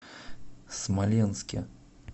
смоленске